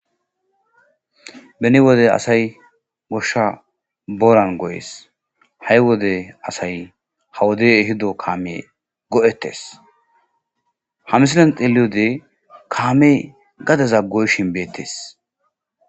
Beni wode asay goshsha booran goyes; ha'i wode asay ha wodey ehido kaame go'etees ; ha misilen xeeliyode kaamey gadeza goyishin beetees.